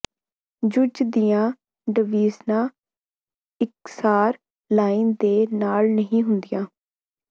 ਜੂਜ ਦੀਆਂ ਡਵੀਜਨਾਂ ਇਕਸਾਰ ਲਾਈਨ ਦੇ ਨਾਲ ਨਹੀਂ ਹੁੰਦੀਆਂ